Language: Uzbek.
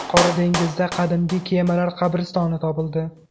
Qora dengizda qadimgi kemalar qabristoni topildi.